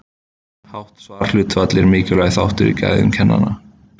Hátt svarhlutfall er mikilvægur þáttur í gæðum kannana.